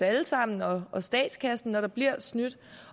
alle os andre og statskassen når der bliver snydt